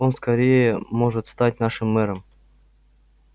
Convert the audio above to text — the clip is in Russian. он скорее может стать нашим мэром